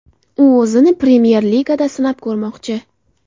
U o‘zini Premyer Ligada sinab ko‘rmoqchi.